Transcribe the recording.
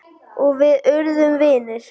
Og við urðum vinir.